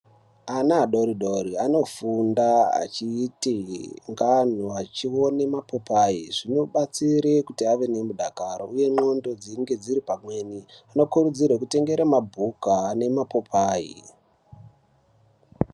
Ana adoridori anofunda achiti achione mapopai zvino batsire kuti ave ne mudakaro uye ndxondo dzinge dziri pamweni tino kurudzirwe ku tengere bhuku ne mapopai.